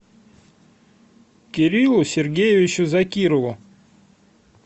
кириллу сергеевичу закирову